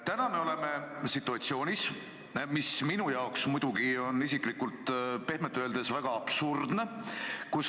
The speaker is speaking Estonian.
Täna me oleme situatsioonis, mis minu arvates on pehmelt öeldes väga absurdne.